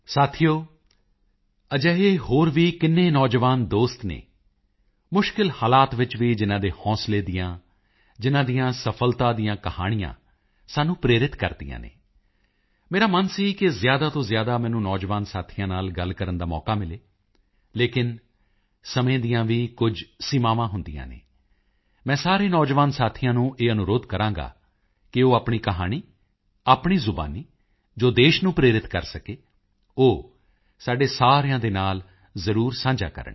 ਸਾਥੀਓ ਅਜਿਹੇ ਹੋਰ ਵੀ ਕਿੰਨੇ ਨੌਜਵਾਨ ਦੋਸਤ ਹਨ ਮੁਸ਼ਕਿਲ ਹਾਲਾਤ ਵਿੱਚ ਵੀ ਜਿਨ੍ਹਾਂ ਦੇ ਹੌਂਸਲੇ ਦੀਆਂ ਜਿਨ੍ਹਾਂ ਦੀਆਂ ਸਫਲਤਾ ਦੀਆਂ ਕਹਾਣੀਆਂ ਸਾਨੂੰ ਪ੍ਰੇਰਿਤ ਕਰਦੀਆਂ ਹਨ ਮੇਰਾ ਮਨ ਸੀ ਕਿ ਜ਼ਿਆਦਾ ਤੋਂ ਜ਼ਿਆਦਾ ਮੈਨੂੰ ਨੌਜਵਾਨ ਸਾਥੀਆਂ ਨਾਲ ਗੱਲ ਕਰਨ ਦਾ ਮੌਕਾ ਮਿਲੇ ਲੇਕਿਨ ਸਮੇਂ ਦੀਆਂ ਵੀ ਕੁਝ ਸੀਮਾਵਾਂ ਹੁੰਦੀਆਂ ਹਨ ਮੈਂ ਸਾਰੇ ਨੌਜਵਾਨ ਸਾਥੀਆਂ ਨੂੰ ਇਹ ਅਨੁਰੋਧ ਕਰਾਂਗਾ ਕਿ ਉਹ ਆਪਣੀ ਕਹਾਣੀ ਆਪਣੀ ਜ਼ੁਬਾਨੀ ਜੋ ਦੇਸ਼ ਨੂੰ ਪ੍ਰੇਰਿਤ ਕਰ ਸਕੇ ਉਹ ਸਾਡੇ ਸਾਰਿਆਂ ਦੇ ਨਾਲ ਜ਼ਰੂਰ ਸਾਂਝਾ ਕਰਨ